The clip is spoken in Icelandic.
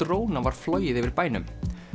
dróna var flogið yfir bænum